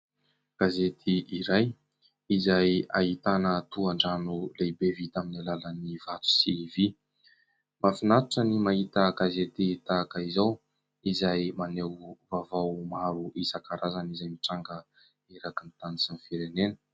Gazety iray izay ahitana tohan-drano lehibe vita amin'ny alalan'ny vato sy vy. Mahafinaritra ny mahita gazety tahaka izao izay maneho vaovao maro isankarazany izay mitranga erakin'ny tany sy ny Firenena.